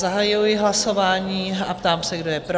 Zahajuji hlasování a ptám se, kdo je pro?